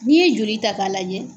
N'i ye joli ta k'a lajɛ